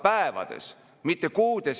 Riigikaitse kindlasti ei ole suurem kui riik ise.